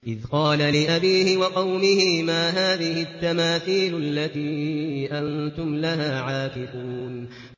إِذْ قَالَ لِأَبِيهِ وَقَوْمِهِ مَا هَٰذِهِ التَّمَاثِيلُ الَّتِي أَنتُمْ لَهَا عَاكِفُونَ